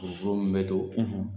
Buruburu min bɛ to,